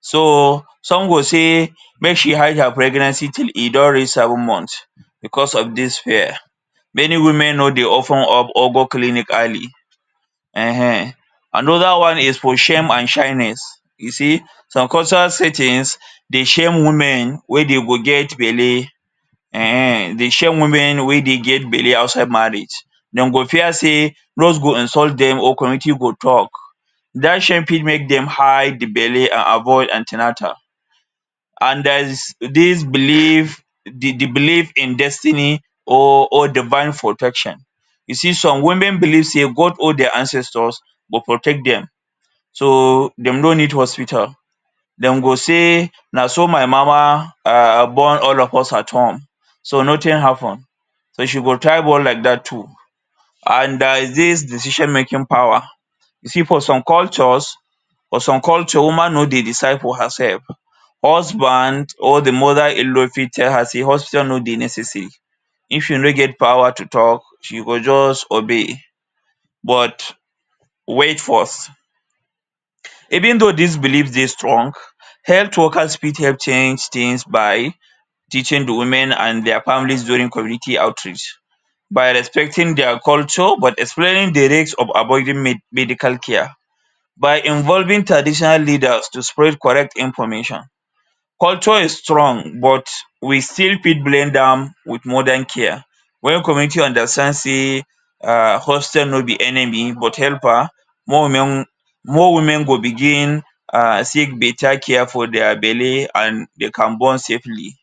So some go say make she hide her pregnancy till e don reach seven months becos of dis fear. Many women no dey open up or go clinic early um um. Another one is for shame and shyness. You see, some culture say tins, de shame women wey de go get belle um um, de shame women wey dey get belle outside marriage. Dem go fear sey go insult dem or committee go tok. Dat shame fit make dem hide di belle and avoid an ten atal and dia is dis belief, di di belief in destiny or or divine protection. You see some women believe sey God or dia ancestors go protect dem. So, dem no need hospital, dem go say: ‘na so my mama um born all of us at home, so notin happen’. So she go try born like dat too, and dia is dis decision making power. See for some cultures, for some culture woman no dey decide for herself. Husband or di mother-in-law fit tell her sey hospital no dey necessary. If you no get power to tok, she go just obey, but wait first. Even though dis belief dey strong, health workers fit help change tins by teaching di women and dia families during community outreach, by respecting dia culture but explaining di risk of avoiding me medical care, by involving traditional leaders to spread correct information. Culture is strong but we still fit blend am with modern care. Wen community understand sey um hospital no be enemy but helper, more women more women go begin um seek beta care for dia belle and de can born safely.